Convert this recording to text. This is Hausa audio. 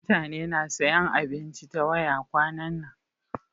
Mutane na sayan abinci ta waya kwanan nan.